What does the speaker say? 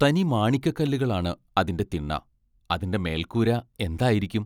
തനി മാണിക്കക്കല്ലുകളാണ് അതിന്റെ തിണ്ണ അതിന്റെ മേൽക്കൂര എന്തായിരിക്കും.